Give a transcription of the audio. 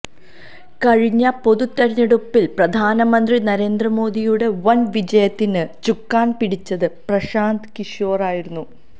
കഴിഞ്ഞ പൊതു തെരഞ്ഞെടുപ്പില് പ്രധാനമന്ത്രി നരേന്ദ്ര മോദിയുടെ വന് വിജയത്തിന് ചുക്കാന് പിടിച്ചത് പ്രശാന്ത് കിഷോറായിരുന്നു